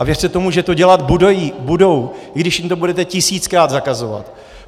A věřte tomu, že to dělat budou, i když jim to budete tisíckrát zakazovat.